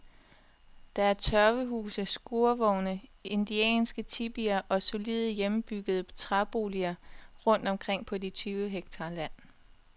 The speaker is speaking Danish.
Der er tørvehuse, skurvogne, indianske tipier og solide, hjemmebyggede træboliger rundt omkring på de tyve hektar land.